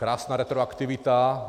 Krásná retroaktivita.